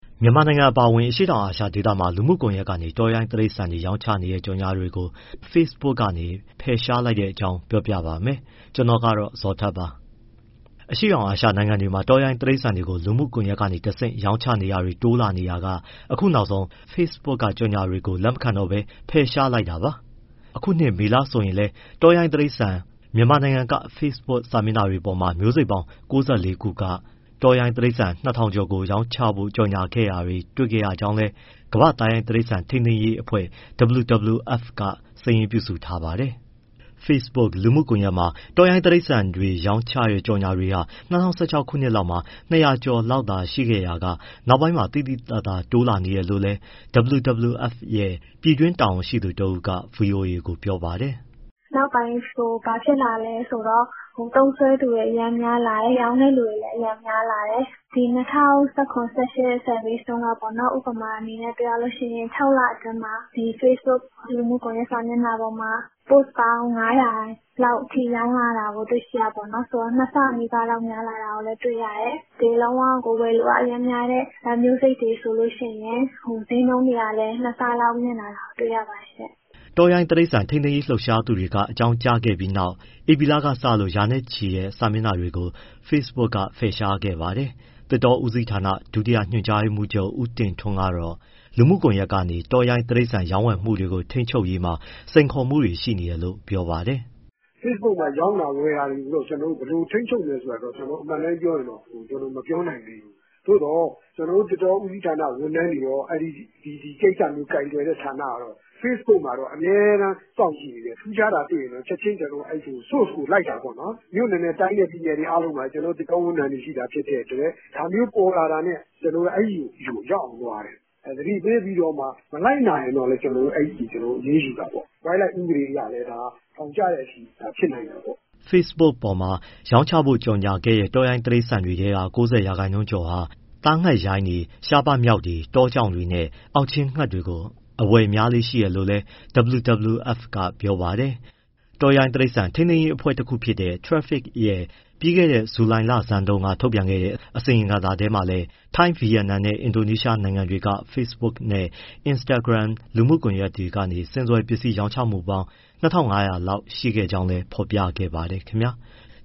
မြန်မာနိုင်ငံ အပါအဝင် အရှေ့တောင်အာရှဒေသမှာ လူမှုကွန်ရက်ကနေ တောရိုင်းတိရစ္ဆာန်တွေ ရောင်းချနေတဲ့ ကြော်ငြာတွေကို Facebook က ဖယ်ရှားလိုက်တဲ့အကြောင်း ပြောပြပါမယ်။ ဗွီအိုအေမြန်မာပိုင်းသတင်းထောက် ကိုဇော်ထက်က သတင်းပေးပို့ထားပါတယ်။ အရှေ့တောင်အာရှနိုင်ငံတွေမှာ တောရိုင်းတိရစ္ဆာန်တွေကို လူမှုကွန်ရက်တွေကတဆင့် ရောင်းချနေတာတွေ တိုးလာနေရာက အခုနောက်ဆုံး Facebook က ကြော်ငြာတွေကို လက်မခံတော့ပဲ ဖယ်ရှားလိုက်တာပါ။ ဒီနှစ်မေလအထိဆိုရင်လည်း တောရိုင်းတိရစ္ဆာန် မြန်မာနိုင်ငံက Facebook စာမျက်နှာတွေပေါ်မှာ မျိုးစိတ်ပေါင်း ၉၄ ခုက တောရိုင်းတိရစ္ဆာန် ၂,၀၀၀ ကျော်ကို ရောင်းချဖို့ ကြော်ငြာခဲ့တာ တွေ့ရှိခဲ့ရကြောင်းလည်း ကမ္ဘာ့သားရိုင်းတိရစ္ဆာန် ထိန်းသိမ်းရေးအဖွဲ့ WWF က စာရင်းပြုစုထားပါတယ်။ Facebook လူမှုကွန်ရက်မှာ တောရိုင်းတိရစ္ဆာန်တွေ ရောင်းချတဲ့ကြော်ငြာတွေဟာ ၂၀၁၆ ခုနှစ်လောက်မှာ ၂၀၀ ကျော်လောက်သာ ရှိခဲ့ရာက နောက်ပိုင်းမှာ သိသိသာသာ တိုးလာနေတယ်လို့လည်း WWF ရဲ့ ပြည်တွင်းတာဝန်ရှိသူတဦးက ဗွီအိုအေကို ပြောပါတယ်။ “နောက်ပိုင်း ဘာဖြစ်လာလဲဆိုတော့ သုံးစွဲသူတွေ အရမ်းများလာတယ်၊ ရောင်းတဲ့သူတွေလည်း အရမ်းများလာတယ်။ ဒီ ၂၀၁၇- ၁၈ survey တုန်းကဆို ဥပမာအနေနဲ့ ပြောရရင် ၆ လအတွင်းမှာ Facebook လူမှုကွန်ရက် စာမျက်နှာပေါ်မှာ post ပေါင်း ၅၀၀ လောက်အထိ ရောင်းရတာကို တွေ့ရတယ်ဆိုတော့ နှစ်ဆနီးပါး များလာတာကို တွေ့ရတယ်။ လုံးဝကို ဝယ်လိုအား အရမ်းများတဲ့ မျိုးစိတ်တွေဆိုရင် ဈေးနှုန်းတွေကလည်း ၂ဆလောက် မြင့်လာတာကို တွေ့ရပါတယ်။” တောရိုင်းတိရစ္ဆာန် ထိန်းသိမ်းရေး လှုပ်ရှားသူတွေက အကြောင်းကြားခဲ့ပြီးနောက် ဧပြီလကစလို့ ရာနဲ့ချီတဲ့ စာမျက်နှာတွေကို Facebook ကဖယ်ရှားခဲ့ပါတယ်။ သစ်တောဦးစီးဌာန ဒုညွှန်ကြားရေးမှူးချုပ် ဦးတင်ထွန်းတော့လူမှုကွန်ရက်ကနေ တောရိုင်းတိရိစ္ဆာန် ရောင်းဝယ်မှုတွေကို ထိန်းချုပ်ရေးမှာ စိန်ခေါ်မှုတွေ ရှိနေတယ်လို့ ပြောပါတယ်။ “Facebook မှာ ရောင်းတာဝယ်တာတွေကိုတော့ ကျနော်တို့ ဘယ်လိုထိန်းချုပ်မယ်ဆိုတာတော့ အမှန်အတိုင်းပြောရင်တော့ မပြောနိုင်သေးဘူး။ သို့သော် ကျနော်တို့ သစ်တောဦးစီးဌာန ဝန်ထမ်းတွေရော ဒီကိစ္စမျိုးကိုင်တွယ်တဲ့ ဌာနကတော့ Facebook မှာ အမြဲတမ်း စောင့်ကြည့်နေတယ်။ ထူးခြားတာတွေ့ရင် ကျနော်တို့ချက်ချင်း source ကိုလိုက်တာပေါ့နော်၊ မြို့နယ်နဲ့ တိုင်းနဲ့ပြည်နယ်အားလုံးမှာ ကျနော်တို့သစ်တော ဝန်ထမ်းတွေရှိတာ ဖြစ်တဲ့အတွက် ဒါမျိုးပေါ်လာတာနဲ့ ကျနော်တို့ အဲဒီလူဆီ ရောက်အောင်သွားတယ်၊ သတိပေးပြီးလို့မှ မလိုက်နာရင်တော့လည်း ကျနော်တို့ အရေးယူတာပေါ့၊ wildlife ဥပဒေအရလည်း ထောင်ကျတဲ့အထိ ဖြစ်နိုင်တာပေါ့။” Facebook ပေါ်မှာ ရောင်းချဖို့ ကြော်ငြာခဲ့တဲ့ တောရိုင်းတိရစ္ဆာန်တွေထဲက ၉၀ ရာခိုင်နှုန်းကျော်ဟာ အရှင်တွေဖြစ်ကြပြီး သားငှက်ရိုင်းတွေ၊ ရှားပါးမျောက်တွေ၊ တောကြောင်တွေနဲ့ အောက်ချင်းငှက်တွေကို အဝယ်များလေ့ရှိတယ်လို့လည်း WWF ကပြောပါတယ်။ တောရိုင်းတိရစ္ဆာန် ထိန်းသိမ်းရေး လှုပ်ရှားမှုအဖွဲ့တခုဖြစ်တဲ့ TRAFFIC ရဲ့ ပြီးခဲ့တဲ့ ဇူလိုင်လဆန်းမှာတုန်းက ထုတ်ပြန်ခဲ့တဲ့ အစီရင်ခံစာထဲမှာလည်း ထိုင်း၊ ဗီယက်နမ်နဲ့ အင်ဒိုနီးရှား နိုင်ငံတွေက Facebook နဲ့ Instagram လူမှုကွန်ရက်တွေကနေ ဆင်စွယ်ပစ္စည်း ရောင်းချမှုပေါင်း ၂,၅၀၀ လောက် ရှိခဲ့ကြောင်းလည်း ဖော်ပြခဲ့ပါတယ်ခင်ဗျာ။